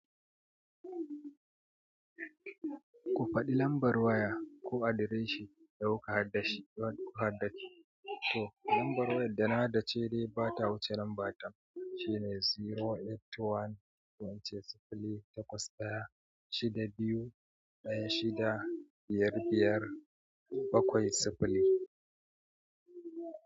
Ku faɗi lambar waya ko adireshin da kuka haddashi ku ka haddace to lambar wayar da na haddace dai ba ta wuce lambar ta shine zero eight one to ince sifili takwas ɗaya shida biyu ɗaya shida biyar biyar bakwai sifili.